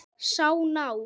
Sá ná